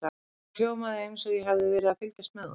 Þetta hljómaði eins og ég hefði verið að fylgjast með honum.